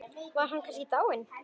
Var hann kannski dáinn?